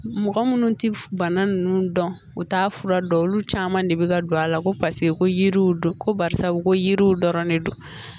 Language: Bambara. Mɔgɔ munnu ti bana nunnu dɔn u t'a fura dɔn olu caman de bi ka don a la ko paseke ko yiriw don ko barisabu ko yiriw dɔrɔn de don